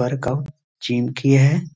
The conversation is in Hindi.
वर्कआउट जिम की है।